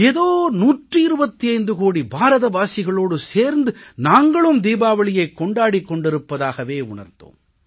ஏதோ 125 கோடி பாரதவாசிகளோடு சேர்ந்து நாங்களும் தீபாவளியைக் கொண்டாடிக் கொண்டிருப்பதாகவே உணர்ந்தோம்